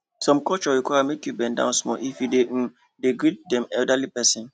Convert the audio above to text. some culture require make you bend down small if you um dey greet dem elderly pesin